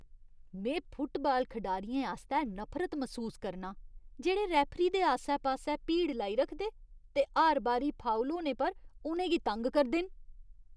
में फुटबाल खडारियें आस्तै नफरत मसूस करनां जेह्ड़े रेफरी दे आस्सै पास्सै भीड़ लाई रखदे ते हर बारी फाउल होने पर उ'नें गी तंग करदे न।